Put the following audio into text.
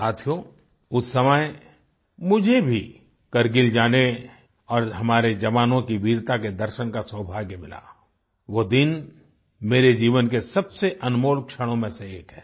साथियो उस समय मुझे भी कारगिल जाने और हमारे जवानों की वीरता के दर्शन का सौभाग्य मिला वो दिन मेरे जीवन के सबसे अनमोल क्षणों में से एक है